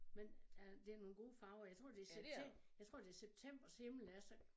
Men øh det nogle gode farver jeg tror det jeg tror det septembers himmel er så